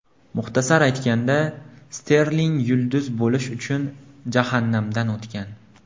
Muxtasar aytganda, Sterling yulduz bo‘lish uchun jahannamdan o‘tgan.